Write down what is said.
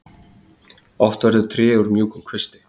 Oft verður tré úr mjúkum kvisti.